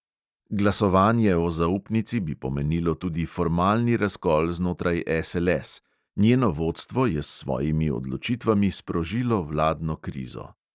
Glasovanje o zaupnici bi pomenilo tudi formalni razkol znotraj SLS (njeno vodstvo je s svojimi odločitvami sprožilo vladno krizo).